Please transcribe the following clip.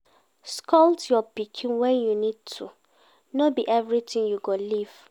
scold your pikin when you need to, no be everything you go leave